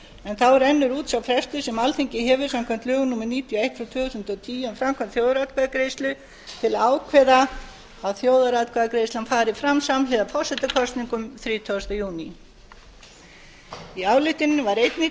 en þá rennur út sá frestur sem alþingi hefur samkvæmt lögum númer níutíu og eitt tvö þúsund og tíu um framkvæmd þjóðaratkvæðagreiðslu til að ákveða að þjóðaratkvæðagreiðslan fari fram samhliða forsetakosningum þrítugasta júní í ályktuninni var einnig